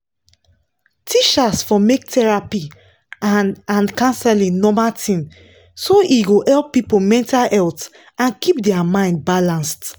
teachers for make therapy and and counseling normal thing so e go help people mental health and keep their mind balanced.